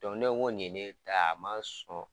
ne ko ngo nin ye ne ta ye a ma sɔn.